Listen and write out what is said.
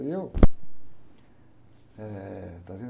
E eu... Eh, está vendo?